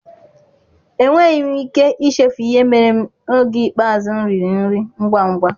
Enweghị m ike ichefu ihe mere m n'oge ikpeazụ m riri nri ngwa ngwa